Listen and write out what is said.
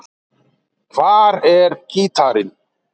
Hvar er gítarinn?